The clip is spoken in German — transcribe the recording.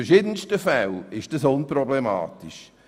In verschiedensten Fällen ist die Forderung unproblematisch.